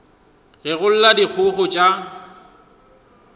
ge go lla dikgogo tša